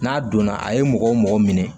N'a donna a ye mɔgɔ o mɔgɔ minɛ